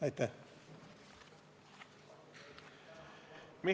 Aitäh!